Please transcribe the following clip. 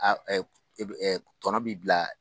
i bi tɔnɔ bi bila